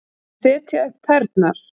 Að setja upp tærnar